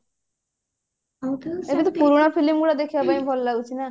ଏବେ ତ ପୁରୁଣା film ଗୁଡା ଦେଖିବା ପାଇଁ ଭଲ ଲାଗୁଛି ନା